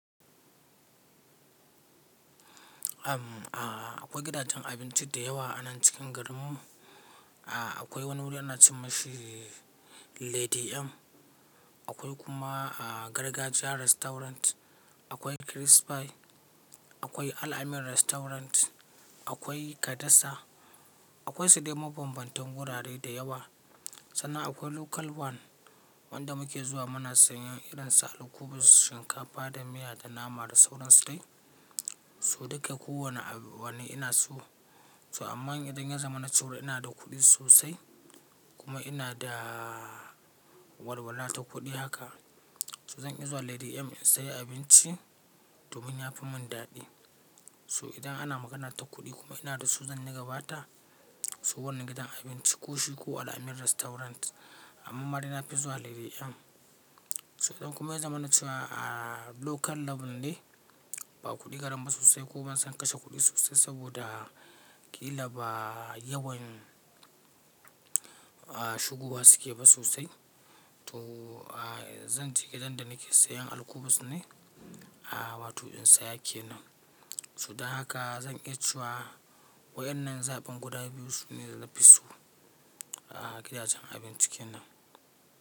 Am, a akwai gidajen abinci da yawa a nan cikin garinmu. A akwai wani wuri ana ce mishi Lady M, akwai kuma a gargajiya restaurant, akwai Chris Pie, akwai Al-amin restaurant, akwai kadasa, akwai su dai mabambantan wurare da yawa. Sannan akwai Local One wanda muke zuwa muna sayan irinsu al'kubus, shinkafa da miya da nama da sauran su dai. Su duka kowane wani ina so. So amma idan ya zama na ciwo ina da kuɗi sosai kuma ina da walwala ta kuɗi haka, to zan iya zuwa Lady M in sayi abinci domin ya fi mun daɗi. So idan ana magana ta kuɗi kuma ina da su zan yi gabata, so wannan gidan abinci ko shi ko Al-amin restaurant. Amma dai nafi zuwa Lady M. So idan kuma ya zama na ciwa a Local Level ne, ba kuɗi gareni ba sosai ko ban san kashe kuɗi sosai saboda ƙila ba yawan shugowa suke ba sosai, to zanje gidan da nake sayan al'kubus ne, a wato in saya kenan. So da haka zan iya ciwa waɗannan zaɓin guda biyu su ne da na fi so a gidajen abinci kenan.